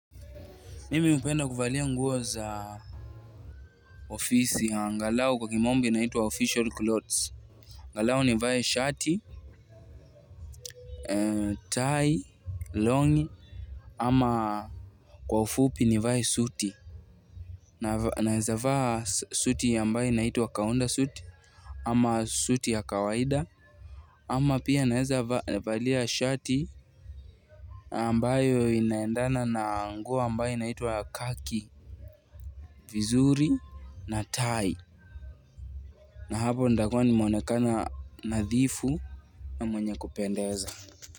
Mimi hupenda kuvalia nguo za ofisi angalau kwa kimombo inaitwa official clothes. Angalau nivae shati, tie, longi, ama kwa ufupi nivae suti. Naweza kuvaa suti ambayo inaitwa kaunda suit, ama suti ya kawaida, ama pia naweza kuvalia shati ambayo inaendana na nguo ambaye naitwa kaki, vizuri, na tie. Na hapo nitakuwa nimeonekana nadhifu na mwenye kupendeza.